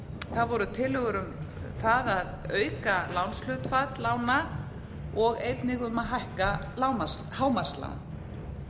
það voru tillögur um það að auka lánshlutfall lána og einnig um að hækka hámarkslán